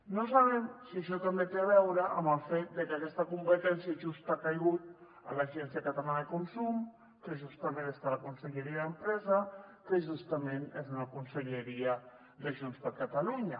no sabem si això també té a veure amb el fet de que aquesta competència just ha caigut a l’agència catalana de consum que justament està a la conselleria d’empresa que justament és una conselleria de junts per catalunya